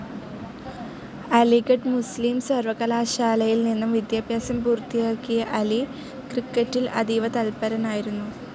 അലിഗഢ് മുസ്ലിം സർവകലാശാലയിൽ നിന്നും വിദ്യാഭ്യാസം പൂർത്തിയാക്കിയ അലി ക്രിക്കറ്റിൽ അതീവ തത്പരനായിരുന്നു.